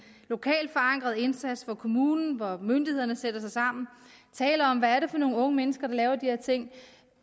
lokalt forankret indsats hvor kommunen hvor myndighederne sætter sig sammen taler om hvad det er for nogle unge mennesker der laver de her ting